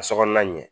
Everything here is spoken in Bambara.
Ka sokɔnɔna ɲɛ